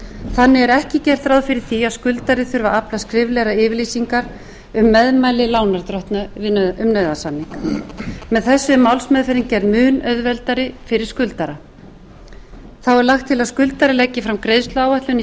þannig er ekki gert ráð fyrir því að skuldari þurfi að afla skriflegrar yfirlýsingar um meðmæli lánardrottna um nauðasamninga með þessu er málsmeðferðin gerð mun auðveldari fyrir skuldara þá er lagt til að skuldari leggi fram greiðsluáætlun í